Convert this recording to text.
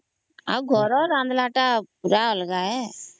ଆଉ ଘର ରନ୍ଧଲା ତ ପୁରା ଅଲଗା ହେ